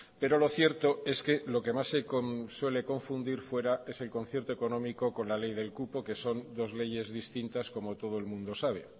pero lo cierto es que lo que más se suele confundir fuera es el concierto económico con la ley del cupo que son dos leyes distintas como todo el mundo sabe